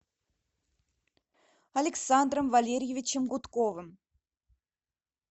александром валерьевичем гудковым